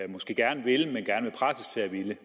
måske gerne vil presses til at ville